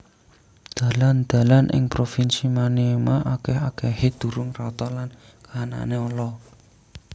Dalan dalan ing provinsi Maniema akèh akèhé durung rata lan kahanané ala